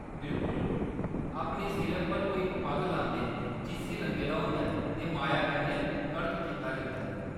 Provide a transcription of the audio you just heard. बिल्कुल ! अपने सिरै पर, ओह्‌‌ इक पग्ग लांदे न जिस्सी रंगे दा होंदा ऐ ते माया कन्नै कड़क कीता जंदा ऐ।